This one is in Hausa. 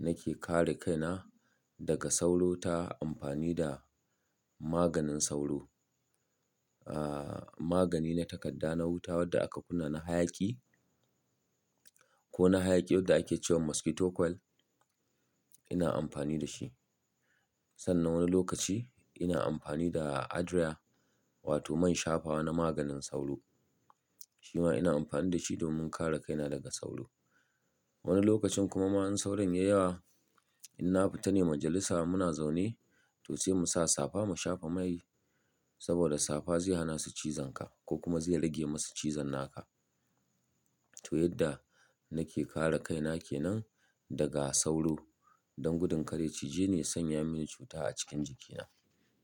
nake kare kaina daga sauro ta amfani da maganin sauro. Ah magani na takadda na wuta wadda aka kunna na hayaki ko na hayaki wadda ake cewa mosquito coil ina amfani da shi. Sannan wani lokaci ina amfani da Adria wato man shafawa na maganin sauro. Shima ina amfani da shi domin kare kaina daga sauro. Wani lokacin kuma in sauron ya yi yawa, in na fita ne majalisa in muna zaune to sai mu sa safa mu shafa mai saboda safa zai hana su cizon ka ko kuma zai rage masa cizon naka. To yadda nake kare kaina kenan daga sauro don gudun kar ya cije ni ya sanya mini cuta a cikin jikina.